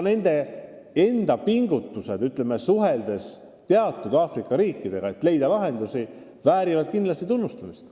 Nende riikide pingutused suhtlemisel teatud Aafrika riikidega, et leida lahendusi, väärivad kindlasti tunnustamist.